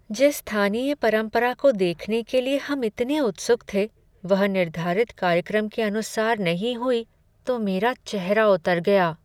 जिस स्थानीय परंपरा को देखने के लिए हम इतने उत्सुक थे, वह निर्धारित कार्यक्रम के अनुसार नहीं हुई तो मेरा चेहरा उतर गया ।